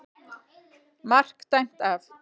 MARK DÆMT AF.